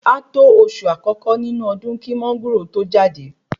A tó oṣù àkọ́kọ́ nínú ọdún kí Mángòrò to jáde